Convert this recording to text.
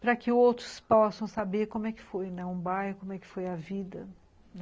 para que outros possam saber como é que foi um bairro, como é que foi a vida.